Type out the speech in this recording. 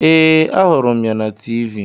Ee, ahụrụ m ya na Tiivii.